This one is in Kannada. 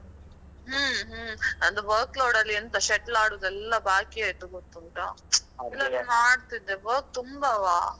ಹ್ಮ್ ಹ್ಮ್, ನಂದು work load ಎಂತ shuttle ಆಡುದೆಲ್ಲ ಬಾಕಿ ಆಯ್ತು ಗೊತ್ತುಂಟಾ. ಇಲ್ಲದ್ರೆ ನಾನ್ ಆಡ್ತಿದ್ದೆ work ತುಂಬವಾ.